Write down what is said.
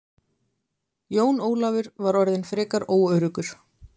Jón Ólafur var orðinn frekar óöruggur.